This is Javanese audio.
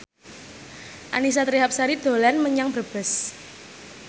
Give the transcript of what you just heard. Annisa Trihapsari dolan menyang Brebes